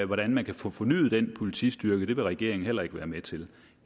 hvordan man kan få fornyet den politistyrke det vil regeringen heller ikke være med til